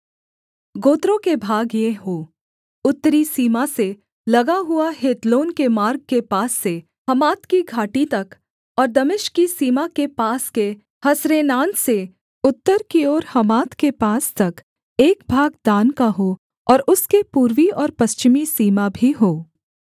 गोत्रें के भाग ये हों उत्तरी सीमा से लगा हुआ हेतलोन के मार्ग के पास से हमात की घाटी तक और दमिश्क की सीमा के पास के हसरेनान से उत्तर की ओर हमात के पास तक एक भाग दान का हो और उसके पूर्वी और पश्चिमी सीमा भी हों